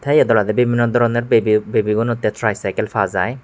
tey yod olodey bibinno doronor babi gunotay try cykel pajai.